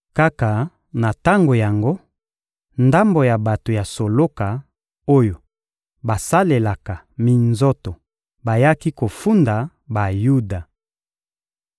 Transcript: Kaka na tango yango, ndambo ya bato ya soloka, oyo basalelaka minzoto bayaki kofunda Bayuda.